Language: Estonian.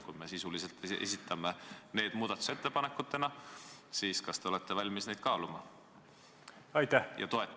Kui me sisuliselt esitame need muudatusettepanekud täna, siis kas te olete valmis neid kaaluma ja toetama?